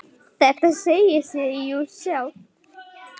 Þetta segir sig jú sjálft!